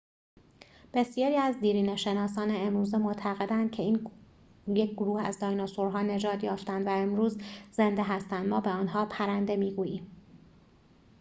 بسیاری از دیرینه‌شناسان امروزه معتقدند که یک گروه از دایناسورها نجات یافتند و امروز زنده هستند ما به آنها پرنده می‌گوییم